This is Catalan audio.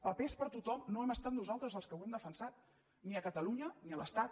papers per a tothom no hem estat nosaltres els que ho hem defensat ni a catalunya ni a l’estat